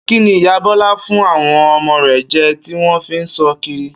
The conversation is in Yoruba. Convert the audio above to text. Kíni ìyá Bó̩lá fún àwo̩n o̩mo̩ rè̩ je̩ tí wó̩n fi ń só kiri?